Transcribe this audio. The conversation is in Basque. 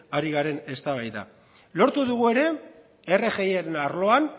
ari garen eztabaida lortu dugu ere rgiaren arloan